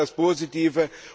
Das ist das Positive.